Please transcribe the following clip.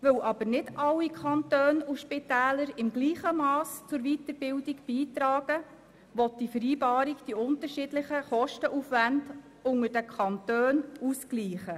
Weil aber nicht alle Kantone und Spitäler im gleichen Mass zur Weiterbildung beitragen, will die Vereinbarung die unterschiedlichen Kostenaufwände unter den Kantonen ausgleichen.